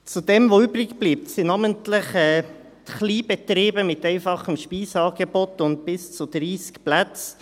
Zu dem, was übrig bleibt, gehören namentlich Kleinbetriebe mit einfachem Speiseangebot und bis zu 30 Plätzen.